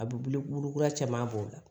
A bɛ wili kura caman bɔ o la